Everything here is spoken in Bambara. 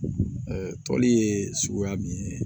tɔli ye suguya min ye